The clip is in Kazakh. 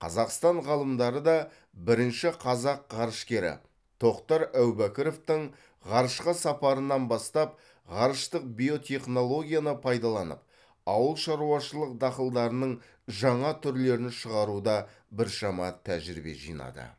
қазақстан ғалымдары да бірінші қазақ ғарышкері тоқтар әубәкіровтің ғарышқа сапарынан бастап ғарыштық биотехнологияны пайдаланып ауыл шаруашылық дақылдарының жаңа түрлерін шығаруда біршама тәжірибе жинады